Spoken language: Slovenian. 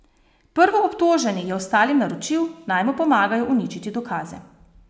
Prvoobtoženi je ostalim naročil, naj mu pomagajo uničiti dokaze.